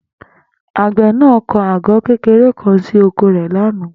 Àgbè̩ náà kó̩ àgó̩ kékeré kan sí oko rè̩ ní àná